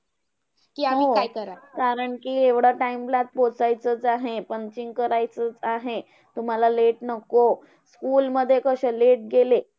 हो! कारण कि एवढा time ला पोहोचायचं चं आहे punching करायची आहे. तुम्हांला late नको. school मध्ये कसं late गेले.